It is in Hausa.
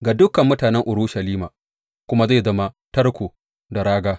Ga dukan mutanen Urushalima kuma zai zama tarko da raga.